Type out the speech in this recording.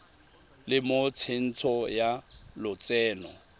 le mo tsentsho ya lotseno